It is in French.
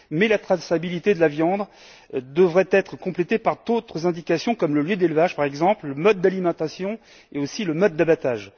La traçabilité de la viande devrait être complétée par d'autres indications comme le lieu d'élevage, par exemple, le mode d'alimentation, ainsi que le mode d'abattage.